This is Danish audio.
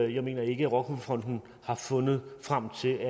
det jeg mener ikke rockwool fonden har fundet frem til